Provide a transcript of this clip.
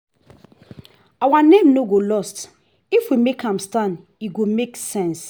our name no go lost if we make am stand e go make sense